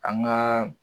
An ka